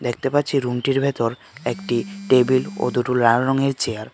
দেখতে পাচ্ছি রুমটির ভেতর একটি টেবিল ও দুটো লার রঙের চেয়ার .